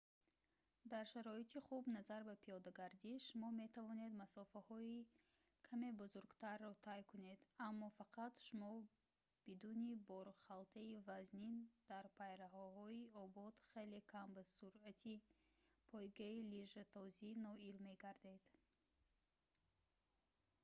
дар шароити хуб назар ба пиёдагардӣ шумо метавонед масофаҳои каме бузургтарро тай кунед аммо фақат шумо бидуни борхалтаи вазнин дар пайраҳаҳои обод хеле кам ба суръати пойгаи лижатозӣ ноил мегардед